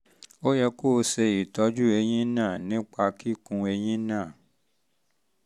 ó yẹ kó o ṣe ìtọ́jú eyín um náà nípa kíkún eyín náà